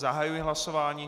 Zahajuji hlasování.